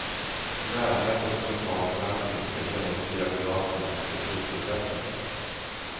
Närhet och lokal förankring ska genomsyra förvaltning och beslutsprocesser.